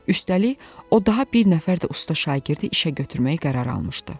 Üstəlik, o daha bir nəfər də usta şagirdi işə götürmək qərarı almışdı.